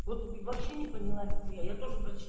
вот они вообще не поняла ни хуя я тоже про